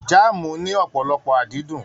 Jaamu ní ọpọlọpọ adídun.